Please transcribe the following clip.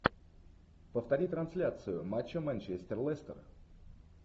повтори трансляцию матча манчестер лестер